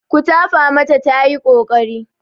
Ku tafa mata tayi ƙoƙari.